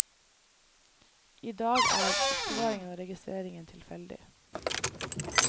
I dag er er oppbevaringen og registreringen tilfeldig.